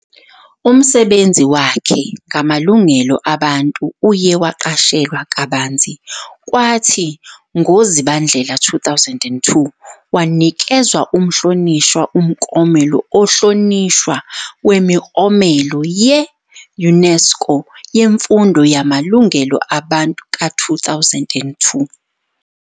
Umsebenzi wakhe ngamalungelo abantu uye waqashelwa kabanzi, kwathi ngoZibandlela 2002, wanikezwa uMhlonishwa uMklomelo Ohlonishwa Wemiklomelo ye-UNESCO Yemfundo Yamalungelo Abantu ka-2002.